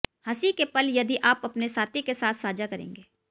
हंसी के पल यदि आप अपने साथी के साथ साझा करेंगे